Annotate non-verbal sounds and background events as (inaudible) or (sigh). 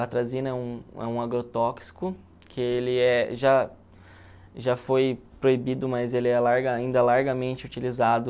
A atrazina é um é um agrotóxico, que ele é já já foi proibido, mas ele é (unintelligible) ainda largamente utilizado